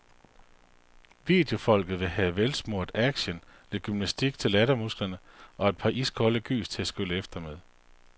Videofolket vil have velsmurt action, lidt gymnastik til lattermusklerne og et par iskolde gys til at skylle efter med.